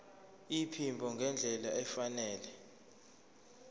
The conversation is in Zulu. iphimbo ngendlela efanele